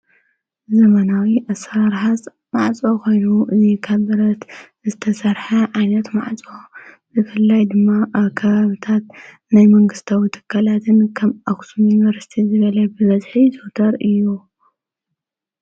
ዘመናዊ ኣሠርሓጽ ማዕፆ ኾይኑ እዙይ ከብ ብረት ዝተሠርሐ ዓይነት ማዕጾ ብፍልላይ ድማ ካሃብታት ናይ መንግሥታዊ ትካላትን ከም ኣኹስም ዩንበርስቲ ዝበለ ብበዝሒ ዘወተር እዩ።